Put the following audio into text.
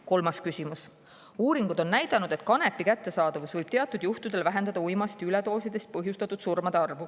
Kolmas küsimus: "Uuringud on näidanud, et kanepi kättesaadavus võib teatud juhtudel vähendada uimastiüledoosidest põhjustatud surmade arvu.